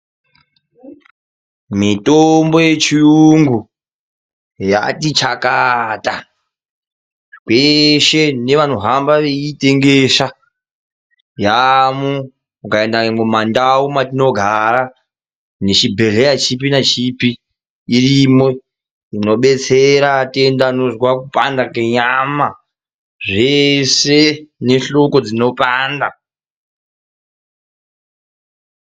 Mitombo yechiyungu yati chakata kweshe nevanohamba veiitengesa yaamwo. Ukaenda nyangwe mumandau matinogara, nechibhedhleya chipi nachipi, irimo inobetsera atenda anozwa kupanda kenyama, zvese nehloko dzinopanda.